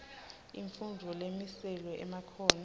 imfundvo lemiselwe emakhono